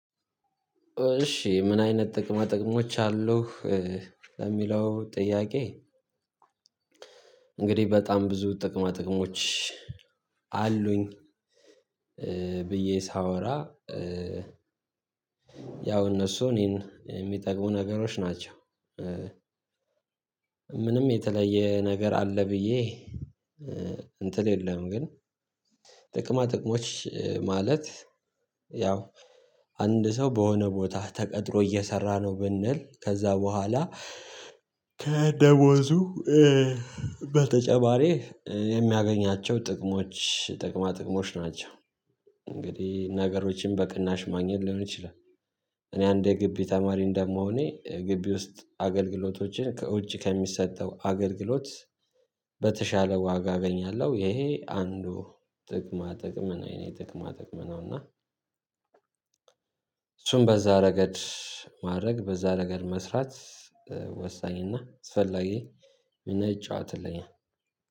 እሺ ምን አይነት ጥቅማ ጥቅሞች አሉህ ለሚለው ጥያቄ? እንግዲህ በጣም ብዙ ጥቅማ ጥቅሞች አሉኝ ብዬ ሳወራ። ያው እነሱ እኔን የሚጠቅሙ ነገሮች ናቸው። ምንም የተለየ ነገር አለ ብዬ እንትል የለም። ግን ጥቅማ ጥቅሞች ማለት ያው አንድ ሰው በሆነ ቦታ ተቀጥሮ እየሰራ ነው ብንል ከዛ በኋላ ከደሞዙ በተጨባሪ የሚያገኛቸው ጥቅሞች ጥቅማ ጥቅሞች ናቸው። እንግዲህ ነገሮችን በቅናሽ ማግኘት ሊሆን ይችላል። እኔ አንድ የግቢ ተማሪ እንደምሆኔ ግቢ ውስጥ አገልግሎቶችን ከውጭ ከሚሰጠው አገልግሎት በተሻለ ዋጋ እገኛለሁ ይሄ አንዱ ጥቅማ ጥቅም ነው የኔ ጥቅማ ጥቅም ነው። እና እሱም በዛ ረገድ ማድረግ በዛ ረገድ መስራት ወሳኝና አስፈላጊ ሚና ይጫወትልኛል።